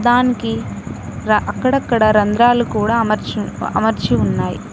దానికి రా అక్కడక్కడ రంధ్రాలు కూడా అమర్ అమర్చి ఉన్నాయి.